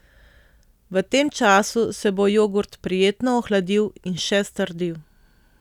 V tem času se bo jogurt prijetno ohladil in še strdil.